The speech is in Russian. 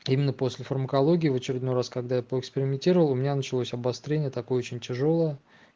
именно после фармакологии в очередной раз когда поэкспериментировал у меня началось обострение такое очень тяжёлая